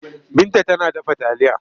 Binta tana dafa taliya.